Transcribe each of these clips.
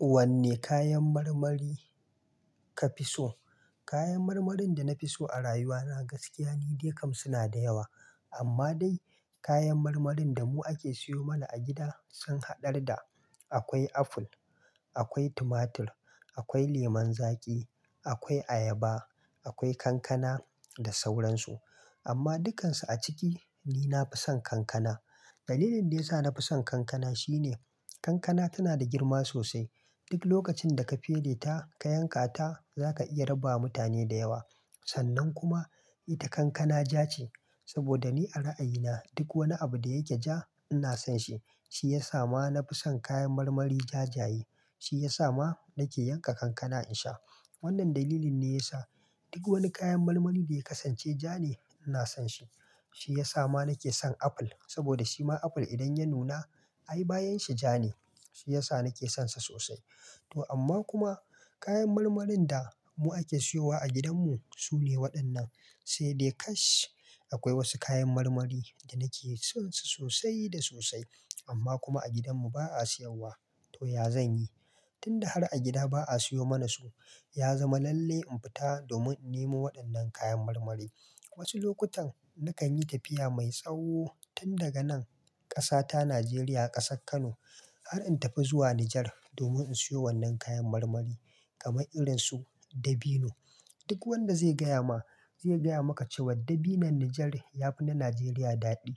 Wanne kayan marmari ka fi so? Kayan marmarin da na fi so a rayuwa na gaskiya, ni dai kam suna da yawa. Amma dai kayan marmarin da mu ake siyo mana a gida sun haɗar da akwai aful, akwai tumatur, akwai leman zaƙi, akwai ayaba, akwai kankana da sauransu. Amma dukansu a ciki, ni na fi son kankana. Dalilin da ya sa na fi son kankana shine kankana tana da girma sosai. Duk lokacin da ka fere ta ka yanka ta, za ka iya raba wa mutane da yawa. Sannan kuma ita kankana ja ce. Saboda ni a ra'ayina duk wani abu da ya ke ja ina son shi. Shi ya sa ma na fi son kayan marmari jajaye. Shi ya sa ma nake yanka kankana in sha. Wannan dalilin ne ya sa duk wani kayan marmari da ya kasance ja ne ina son shi. Shi ya sa ma nake son aful. Saboda shima aful idan ya nuna, ai bayan shi ja ne. Shi ya sa nake son sa sosai. To amma kuma kayan marmarin da mu ake siyowa a gidanmu su ne waɗannan. Sai dai kash, akwai wasu kayan marmari da nake son su sosai da sosai amma kuma a gidanmu ba a siyowa. To ya zan yi? Tun da har a gida ba'a siyo mana su, ya zama lalle in fita domin in nemo waɗannan kayan marmarin. Wasu lokutan nakan yi tafiya mai tsawo tun daga nan ƙasa ta Najeriya, ƙasar Kano har in tafi zuwa Nijar domin in siyo wannan kayan marmari kamar irin su dabino. Duk wanda zai gaya ma zai gaya maka cewa dabinon Nijar ya fi na Najeriya daɗi.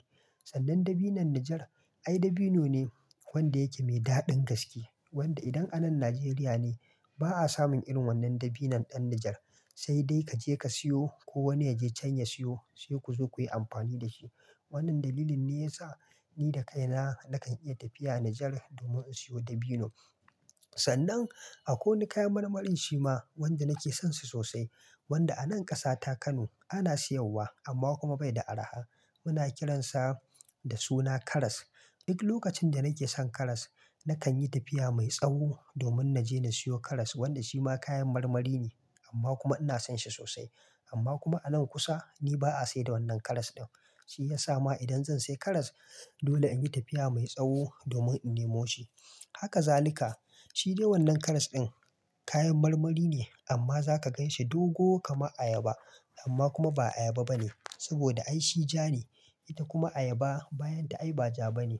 Sannan dabino'n Nijar ai dabino ne wanda yake mai daɗin gaske. Wanda idan anan Najeriya ne ba'a samun irin wannan dabinon ɗan Nijar. Sai dai ka je ka siyo ko wani ya je can ya siyo sai ku zo kuyi amfani da shi. Wannan dalilin ne ya sa ni da kaina nakan iya tafiya Nijar domin in siyo dabino. Sannan akwai wani kayan marmarin shima wanda nake son shi sosai wanda anan ƙasa ta Kano ana siyarwa amma kuma bai da arha. Muna kiransa da suna karas. Duk lokacin da nake son karas nakan yi tafiya mai tsawo domin na je na siyo karas wanda shi ma kayan marmari ne amma kuma ina son shi sosai. Amma kuma anan kusa ni ba'a sai da wannan karas ɗin. Shi ya sa ma idan zan sai karas dole in yi tafiya mai tsawo domin in nemo shi. Haka zalika. Shi dai wannan karas ɗin kayan marmari ne amma za ka gan shi dogo kaman ayaba amma kuma ba ayaba ba ne saboda ai shi ja ne. Ita kuma ayaba bayan ta ai ba ja ba ne,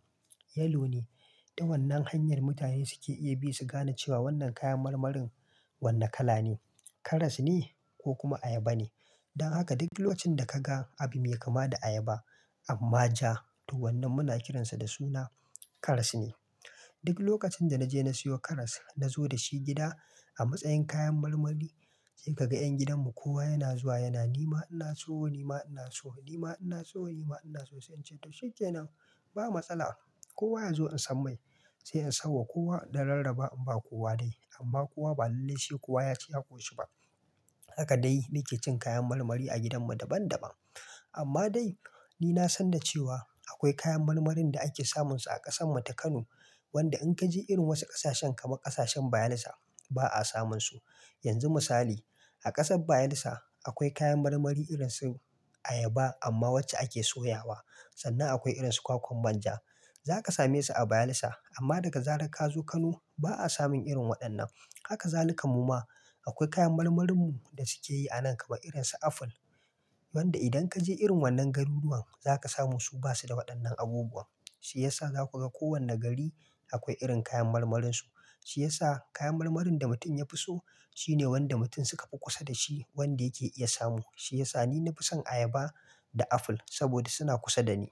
yellow ne. Ta wannan hanyar mutane suke iya bi su gane cewa wannan kayan marmarin wanne kala ne, karas ne ko kuma ayaba ne. Don haka duk lokacin da ka ga abu mai kama da ayaba amma ja, to wannan muna kiransa da suna karas ne. Duk lokacin da na je na siyo karas na zo da shi gida a matsayin kayan marmari sai ka ga 'yan gidanmu kowa yana zuwa yana "ni ma ina so, ni ma ina so, ni ma ina so, ni ma ina so." Sai in ce to shikenan ba matsala. Kowa ya zo in san mai sai in sanwa kowa in Dan rarraba in ba kowa dai. Amma kowa ba lalle sai kowa ya ci ya ƙoshi ba. Haka dai nake cin kayan marmari a gidanmu daban daban. Amma dai ni na san da cewa akwai kayan marmarin da ake samunsu a ƙasar mu ta Kano wanda in ka je irin wasu ƙasashen kamar ƙasashen Bayelsa ba'a samunsu. Yanzu misali a ƙasar Bayelsa akwai kayan marmari irin su ayaba amma wacce ake soya wa sannan akwai irin su kwakwan banja. Za ka same su a Bayelsa amma daga zarar ka zo Kano ba'a samun irin waɗannan. Haka zalika mu ma akwai kayan marmarinmu da suke yi anan kamar irin su aful wanda idan ka je irin wannan garuruwan za ka samu su ba su da waɗannan abubuwan. Shi ya sa za ku ga kowane gari akwai irin kayan marmarin su. Shi ya sa kayan marmarin da mutum ya fi so shine wanda mutum suka fi kusa da shi wanda yake iya samu. Shi ya sa ni na fi son ayaba da aful saboda suna kusa da ni.